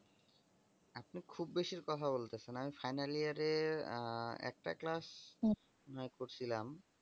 আপনি খুব বেশির কথা বলতেছেন আমি final year আ একটা class হম নয় করছিলাম ।